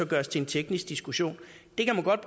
gøres til en teknisk diskussion kan man godt